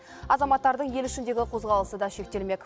азаматтардың ел ішіндегі қозғалысы да шектелмек